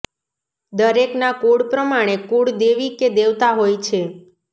દરેકના કુળ પ્રમાણે કુળ દેવી કે દેવતા હોય છે